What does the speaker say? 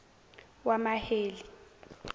wamaheli